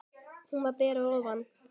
Hún var ber að ofan.